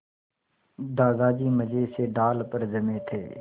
दादाजी मज़े से डाल पर जमे थे